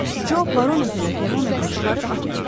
Co barometrlə termometri çıxarıb atdı.